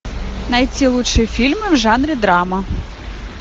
найти лучшие фильмы в жанре драма